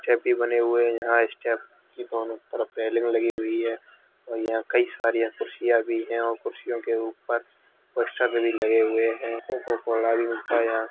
छैपी भी बने हुए हैं यहाँ स्टेप की दोनों तरफ रेलिंग लगी हुई है और यहाँं कई सारी कुर्सियां भी है और कुर्सियो के ऊपर पोस्टर भी लगे हुए हैं। कोका-कोला भी मिलता यहाँं।